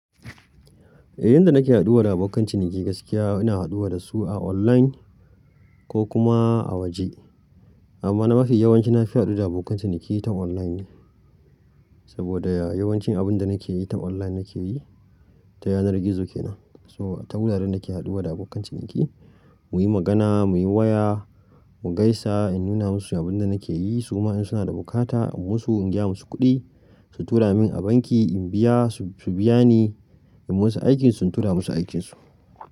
Eh yanda nake haɗuwa da abokan ciniki gaskiya ina haɗuwa da su a online ko kuma a waje. Amma na mafi yawanci na fi haɗuwa da abokan ciniki ta online ne. Saboda yawancin abunda nake yi ta online nake yi. Ta yanar gizo kenan. So ta wuraren nake haɗuwa da abokan ciniki muyi magana, muyi waya, mu gaisa in nuna masu abunda nake yi su kuma in suna da bukata in musu, in gaya musu kuɗi, su tura min a banki in biya su biya ni. In musu aikin su in tura musu aikin su.